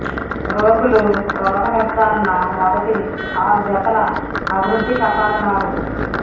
రోగులు రోగనిర్ధారణ మొదటి ఆరు జతల అభివృద్ధి కపాల నాడులు